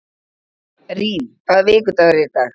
Rín, hvaða vikudagur er í dag?